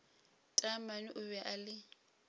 taamane o be a le